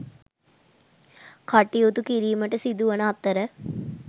කටයුතු කිරීමට සිදු වන අතර